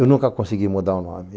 Eu nunca consegui mudar o nome.